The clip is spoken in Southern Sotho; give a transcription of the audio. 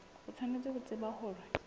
o tshwanetse ho tseba hore